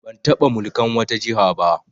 Ban taɓa mulkan wata jiha ba